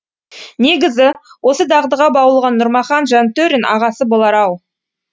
негізі осы дағдыға баулыған нұрмахан жантөрин ағасы болар ау